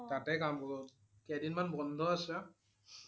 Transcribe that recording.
তাতেই কাম কৰোঁ। কেইদিনমান বন্ধ আছে